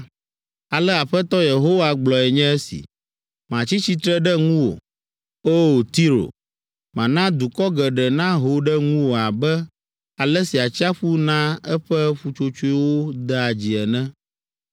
ale Aƒetɔ Yehowa gblɔe nye si: Metsi tsitre ɖe ŋuwò. O! Tiro, mana dukɔ geɖe naho ɖe ŋuwò abe ale si atsiaƒu naa eƒe ƒutsotsoewo dea dzi ene.